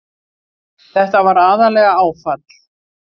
Þetta var aðallega áfall.